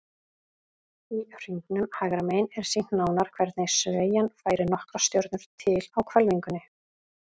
Í hringnum hægra megin er sýnt nánar hvernig sveigjan færir nokkrar stjörnur til á hvelfingunni.